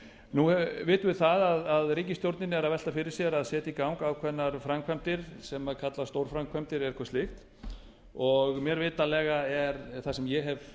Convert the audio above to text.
nú vitum við það að ríkisstjórnin er að velta fyrir sér að setja í gang ákveðnar framkvæmdir sem kallast stórframkvæmdir eða eitthvað slíkt og mér vitanlega er það sem ég hef